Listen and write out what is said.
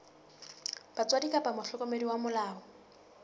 batswadi kapa mohlokomedi wa molao